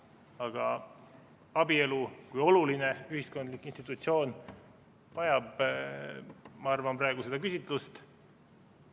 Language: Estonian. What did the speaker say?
Aga abielu kui oluline ühiskondlik institutsioon vajab, ma arvan, praegu seda küsitlust.